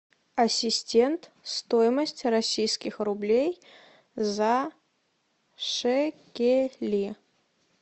ассистент стоимость российских рублей за шекели